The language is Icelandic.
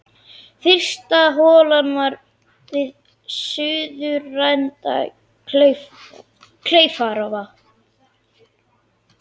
Fyrsta holan var við suðurenda Kleifarvatns.